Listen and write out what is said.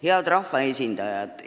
Head rahvaesindajad!